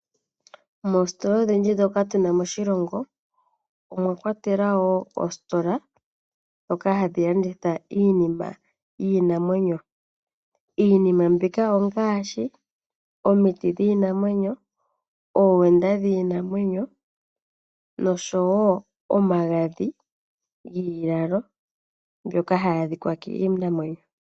Moostola odhindji ndhoka tuna moshilongo omwakwatelwa woo oostola ndhoka hadhi landitha iinima yiinamwenyo. Iinima mbika ongaashi omiti dhiinamwenyo oowenda dhiinamwenyo oshowo omagadhi giilalo mbyoka hayi adhikwa kiinamwenyo.